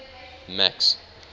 max